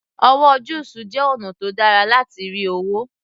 Òwò juice jẹ́ ọ̀nà tó dára láti rí owó